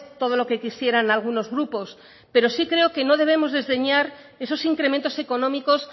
todo lo que quisieran algunos grupos pero sí creo que no debemos desdeñar esos incrementos económicos